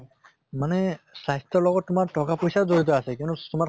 মানে স্বাস্থ্য়ৰ লগত তোমাৰ টকা পইছাও জড়িত আছে কিন্তু তোমাৰ